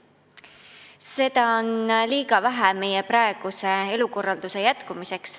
Seda on liiga vähe meie praeguse elukorralduse jätkumiseks.